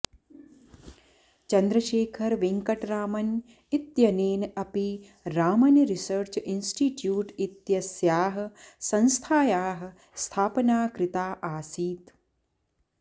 चन्द्रशेखर वेङ्कटरामन् इत्यनेन अपि Raman research institute इत्यस्याः संस्थायाः स्थापना कृता आसीत्